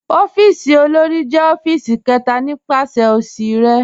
Ọ̀fíìsì òlórí jẹ̀ ọ̀fíìsì kẹta nípasẹ̀ osì rẹ.